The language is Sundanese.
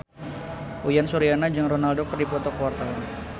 Uyan Suryana jeung Ronaldo keur dipoto ku wartawan